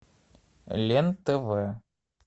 лен тв